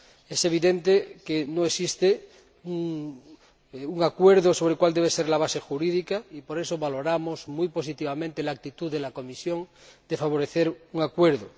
Es evidente que no existe un acuerdo sobre cuál debe ser la base jurídica y por eso valoramos muy positivamente la actitud de la Comisión de favorecer un acuerdo.